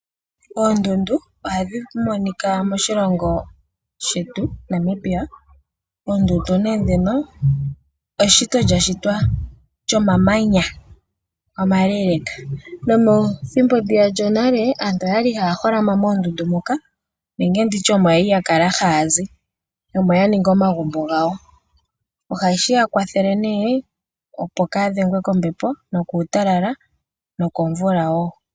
Oondundu ohadhi monikwa moshilongo shetu Namibia, oondundu nee dhino eshito lyashitwa lyonamanya omaleeleka. Methimbo ndiya lyonale aantu oya li haya holama moondundu nenge nditye omo ya li ya kala haazi omo yaninga omagumbo gawo, ohashi ya kwathele nee opo kaadhengwe kombepo nokuutalala nokomvula woo.